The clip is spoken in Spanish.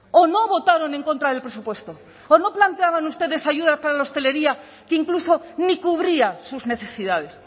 o no votaron en contra del presupuesto o no planteaban ustedes ayuda para la hostelería que incluso ni cubría sus necesidades